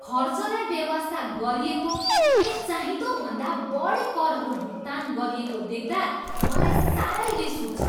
खर्चलाई बेवास्ता गरिएको अनि चाहिँदोभन्दा बढी करहरू भुक्तान गरिएको देख्दा मलाई सारै रिस उठ्छ।